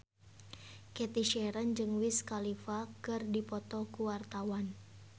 Cathy Sharon jeung Wiz Khalifa keur dipoto ku wartawan